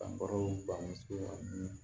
Fan baro ban sin na